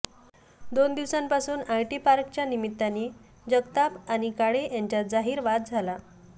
दोन दिवसांपासून आयटी पार्कच्या निमित्ताने जगताप आणि काळे यांच्यात जाहीर वाद झाला